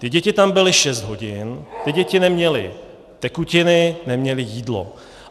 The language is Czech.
Ty děti tam byly šest hodin, ty děti neměly tekutiny, neměly jídlo.